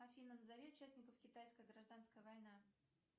афина назови участников китайская гражданская война